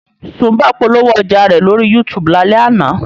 Sùḿbọ̀ polówó ọjà rẹ̀ lórí YouTube lálẹ́ àná.